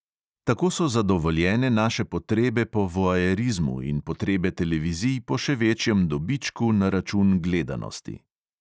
Tako so zadovoljene naše potrebe po voajerizmu in potrebe televizij po še večjem dobičku na račun gledanosti.